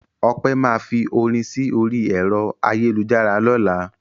Ọpẹ́ máa fi orin sí orí ẹ̀rọ ayélujára lọ́la.